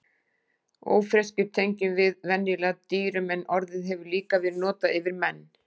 Ófreskjur tengjum við venjulega dýrum en orðið hefur líka verið notað yfir menn.